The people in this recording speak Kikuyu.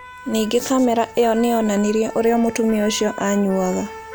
Ningĩ kamera ĩyo nĩ yonanirie ũrĩa mũtumia ũcio anyuaga.